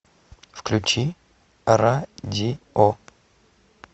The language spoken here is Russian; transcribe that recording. включи радио